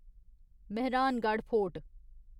Mehrangarh fort